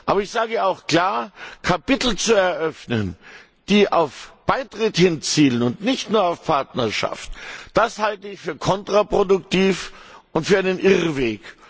Aber ich sage auch klar Kapitel zu eröffnen, die auf Beitritt hinzielen und nicht nur auf Partnerschaft, halte ich für kontraproduktiv und für einen Irrweg.